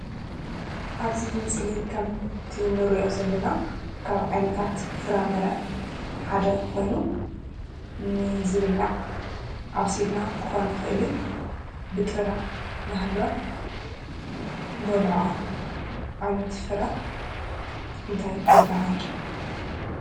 ኣብዚ ምስሊ ከምቲ ንሪኦ ዘለና ካብ ዓይነታት ፍራምረ ሓደ ኾይኑ ንዝብላዕ ኣብሲልና ክኾን ይኽእል እዩ፡፡ ብጥረ እናሃለወ እንበልዖ ዓይነት ፍረ እንታይ ይባሃል?